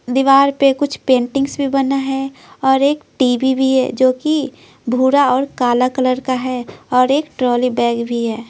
दीवार पे कुछ पेंटिंग्स भी बना है और एक टी_वी भी है जो कि भूरा और काला कलर का है और एक ट्रॉली बैग भी है।